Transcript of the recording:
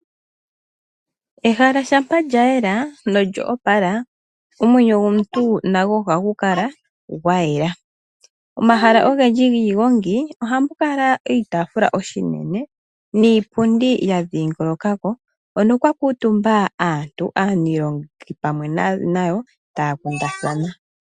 Ehala shampa lya yela nolyo opala omwenyo gomuntu nago ohagu kala gwayela. Omahala ogendji giigongi ohamu kala oitaafula oshinene niipundi ya dhingoloka ko hono kwa kuutumba aantu aanilonga pamwe nayo taya taakundathana.